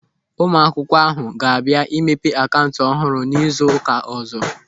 Ụmụ akwụkwọ ahụ ga-abịa imepe akaụntụ ọhụrụ n'izu ụka ọ̀zọ́.